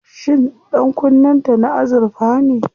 Shin ɗankunnen ta na azurfa ne?